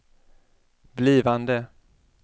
blivande